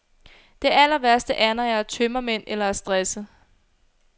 Det allerværste er, når jeg har tømmermænd eller er stresset.